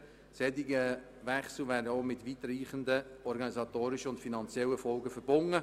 Ein solcher Wechsel wäre denn auch mit weitreichenden organisatorischen und finanziellen Folgen verbunden.